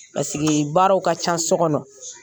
baaraw ka ca so kɔnɔ